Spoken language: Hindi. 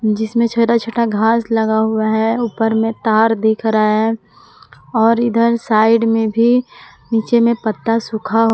जिसमें छोटा छोटा घास लगा हुआ है ऊपर में तार दिख रहा है और इधर साइड में भी नीचे में पत्ता सुखा--